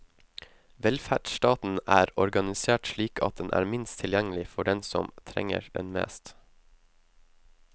Velferdsstaten er organisert slik at den er minst tilgjengelig for den som trenger den mest.